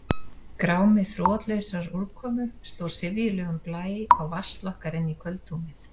Grámi þrotlausrar úrkomu sló syfjulegum blæ á vasl okkar inní kvöldhúmið.